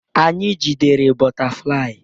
Anyị jidere bọtaflai.